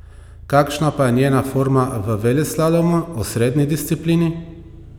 Kakšna pa je njena forma v veleslalomu, osrednji disciplini?